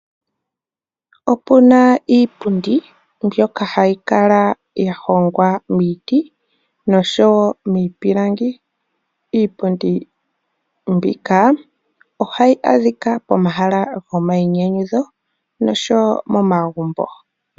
Opuna iipundi mbyoka hayi kala ya hongwa miiti noshowo miipilangi, iipundi mbika ohayi adhika pomahala gomayinyanyudho noshowo momagumbo.